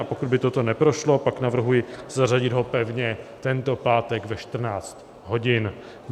A pokud by toto neprošlo, pak navrhuji zařadit ho pevně tento pátek ve 14 hodin.